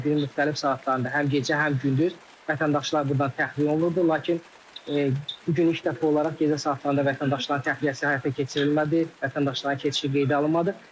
Adətən günün müxtəlif saatlarında həm gecə, həm gündüz vətəndaşlar burdan təxliyə olunurdu, lakin bu gün ilk dəfə olaraq gecə saatlarında vətəndaşların təxliyəsi həyata keçirilmədi, vətəndaşların keçişi qeydə alınmadı.